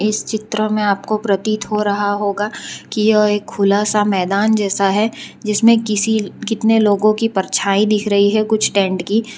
इस चित्र में आपको प्रतीत हो रहा होगा कि यह एक खुला सा मैदान जैसा है जिसमें किसी कितने लोगों की परछाई दिख रही है कुछ टेंट की--